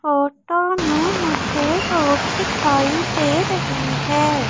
Photo में मुझे road दिखाई दे रही है।